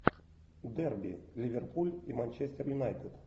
дерби ливерпуль и манчестер юнайтед